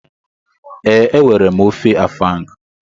Ee, enwere m ofe afang.